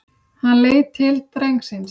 Hann leit til drengsins.